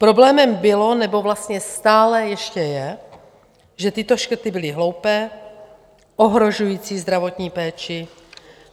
Problémem bylo, nebo vlastně stále ještě je, že tyto škrty byly hloupé, ohrožující zdravotní péči.